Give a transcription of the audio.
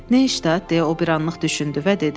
Nəşstat deyə o bir anlıq düşündü və dedi.